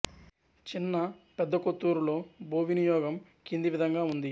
చిన్న పెద్ద కొత్తూరులో భూ వినియోగం కింది విధంగా ఉంది